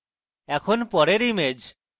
এখন পরের image